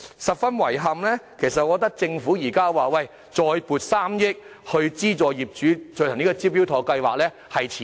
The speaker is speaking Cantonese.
十分遺憾的是，政府現在才表示再撥3億元，資助業主參加"招標妥"計劃，我認為是遲了。